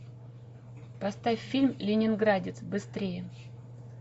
поставь фильм ленинградец быстрее